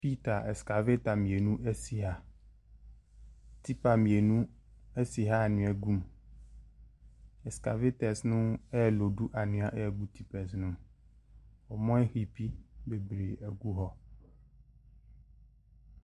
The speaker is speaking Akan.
Escavator mmienu si ha. Tipa mmienu si ha anwea gu mu. Escavators no reloodu anwea gu tipas no mu. Wɔaheapi bebree agu hɔ.